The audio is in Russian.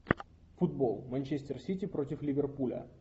футбол манчестер сити против ливерпуля